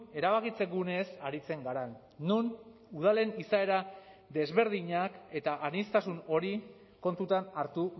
erabakitze guneez aritzen garen non udalen izaera desberdinak eta aniztasun hori kontutan hartu